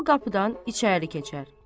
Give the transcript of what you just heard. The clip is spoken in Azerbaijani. Sol qapıdan içəri keçər.